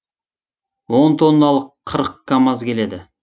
он тонналық қырық камаз келеді